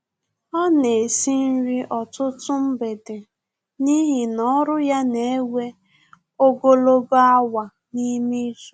Ọ na esi nri ọtụtụ mgbede n'ihi na ọrụ ya na-ewe ogologo awa n'ime izu